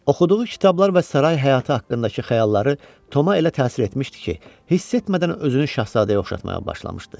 Oxuduğu kitablar və saray həyatı haqqındakı xəyalları Toma elə təsir etmişdi ki, hiss etmədən özünü şahzadəyə oxşatmağa başlamışdı.